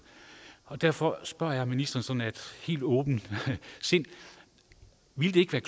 derfor spørger jeg ministeren sådan af helt åbent sind ville det ikke være